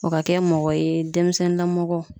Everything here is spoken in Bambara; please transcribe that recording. O ka kɛ mɔgɔ ye denmisɛnnilamɔgɔ